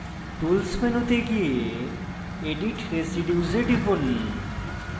tools মেনুতে go edit residues এ টিপুন